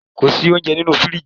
Ko si ounjẹ ninu firiji